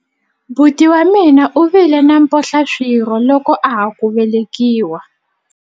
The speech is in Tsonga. buti wa mina u vile na mphohlaswirho loko a ha ku velekiwa